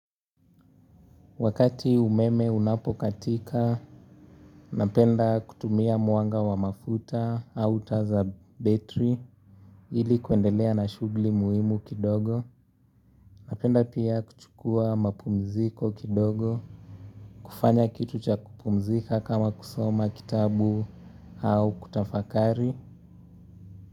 Wakati umeme unapokatika, napenda kutumia mwanga wa mafuta au taa za battery ili kuendelea na shugli muhimu kidogo. Napenda pia kuchukua mapumziko kidogo, kufanya kitu cha kupumzika kama kusoma kitabu au kutafakari.